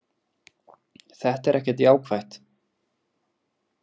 Þetta er ekkert jákvætt.